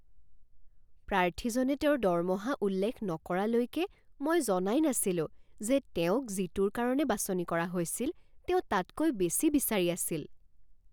প্ৰাৰ্থীজনে তেওঁৰ দৰমহা উল্লেখ নকৰালৈকে মই জনাই নাছিলোঁ যে তেওঁক যিটোৰ কাৰণে বাছনি কৰা হৈছিল তেওঁ তাতকৈ বেছি বিচাৰি আছিল।